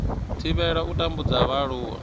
thivhela u tambudzwa ha vhaaluwa